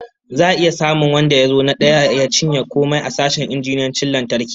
Za'a iya samun wanda ya zo na daya ya cinye komai a sashen injiniyancin lantarki?